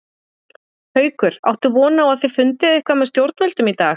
Haukur: Áttu von á að þið fundið eitthvað með stjórnvöldum í dag?